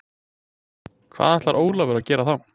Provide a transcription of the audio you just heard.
Hvað ætlar Ólafur að gera þá?